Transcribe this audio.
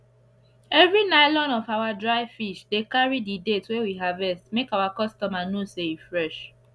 everi nylon of our dry fish dey carri the date wey we harvest make our customer know say e fresh